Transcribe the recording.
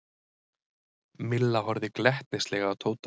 Milla horfði glettnislega á Tóta.